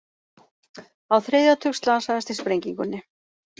Á þriðja tug slasaðist í sprengingunni